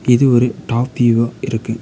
இது ஒரு டாப் வியூவா இருக்கு.